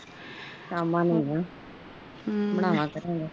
ਸ਼ਾਮ ਨੂੰ ਹੁਣ ਬਣਾਵੇਗਾ